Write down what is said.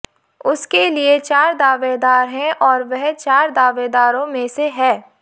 उसके लिए चार दावेदार हैं और वह चार दावेदारों में से है